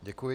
Děkuji.